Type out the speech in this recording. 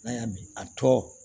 N'a y'a min a tɔ